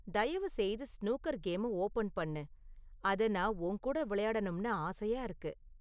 தயவுசெய்து ஸ்னூக்கர் கேம ஓபன் பண்ணு, அதை நான் உன் கூட விளையாடணும்னு ஆசையா இருக்கு